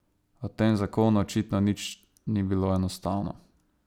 A v tem zakonu očitno nič ni bilo enostavno.